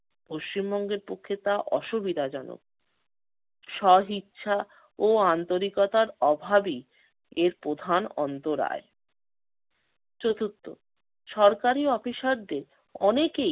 পশ্চিমবঙ্গের জন্য তা অসুবিধাজনক। স্বইচ্ছা ও আন্তরিকতার অভাবেই এর প্রধান অন্তরায়। চতুর্থত, সরকারি অফিসারদের অনেকেই